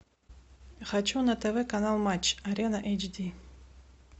хочу на тв канал матч арена эйч ди